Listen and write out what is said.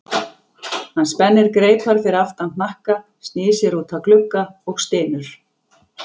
Hann spennir greipar fyrir aftan hnakka, snýr sér út að glugga og stynur.